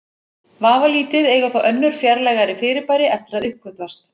Vafalítið eiga þó önnur fjarlægari fyrirbæri eftir að uppgötvast.